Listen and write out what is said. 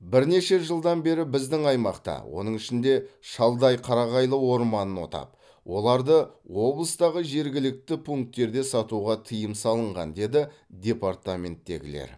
бірнеше жылдан бері біздің аймақта оның ішінде шалдай қарағайлы орманын отап оларды облыстағы жергілікті пункттерде сатуға тыйым салынған деді департаменттегілер